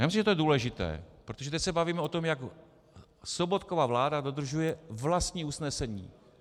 Já myslím, že to je důležité, protože teď se bavíme o tom, jak Sobotkova vláda dodržuje vlastní usnesení.